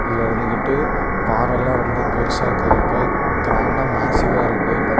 இருந்துகிட்டு பாறலாம் ரொம்ப பெருசா கருப்பா கிராண்டா மேசிவ்வா இருக்கு பக்க.